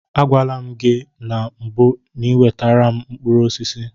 Agwala m gị na mbụ n'iwetara m mkpụrụ osisi.